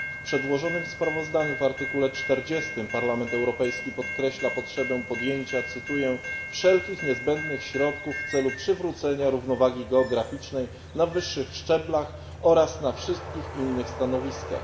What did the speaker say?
W przedłożonym sprawozdaniu, w artykule 40, Parlament Europejski podkreśla potrzebę cytuję wszelkich niezbędnych środków w celu przywrócenia równowagi geograficznej na wyższych szczeblach oraz na wszystkich innych stanowiskach.